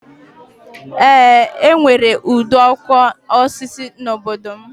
Eé, e nwere ide ọkụ osisi n'obodo m